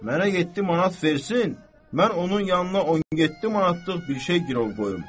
Mənə yeddi manat versin, mən onun yanına 17 manatlıq bir şey girov qoyum.